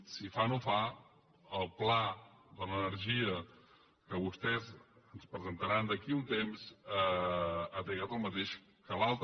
si fa o no fa el pla de l’energia que vostès ens presentaran d’aquí a un temps ha trigat el mateix que l’altre